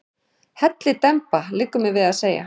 Hellidemba, liggur mér við að segja.